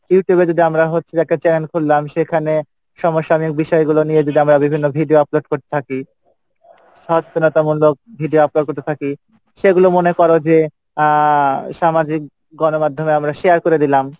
Youtube এ যদি আমরা হচ্ছে যে একটা channel খুললাম সেখানে সমসাময়িক বিষয়গুলো নিয়ে যদি আমরা বিভিন্ন video upload করতে থাকি video upload করতে থাকি সেগুলো মনে করো যে আহ সামাজিক গণ মাধ্যমে আমরা share করে দিলাম,